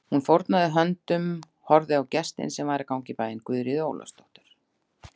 Hún fórnaði höndum og horfði á gestinn sem var að ganga í bæinn, Guðríði Ólafsdóttur.